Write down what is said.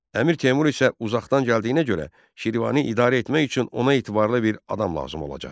Əmir Teymur isə uzaqdan gəldiyinə görə, Şirvanı idarə etmək üçün ona etibarlı bir adam lazım olacaq.